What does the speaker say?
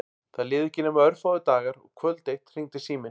Það liðu ekki nema örfáir dagar og kvöld eitt hringdi síminn.